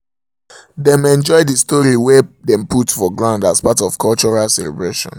dem enjoy the story wey dem put for ground as part of cultural celebration